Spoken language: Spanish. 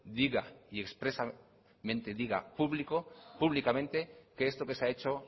diga y expresamente diga público públicamente que esto que se ha hecho